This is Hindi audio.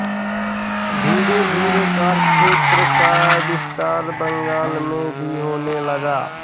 धीरे धीरे कार्यक्षेत्र का विस्तार बंगाल में भी होने लगा